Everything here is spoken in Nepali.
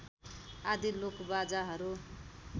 आदि लोकबाजाहरू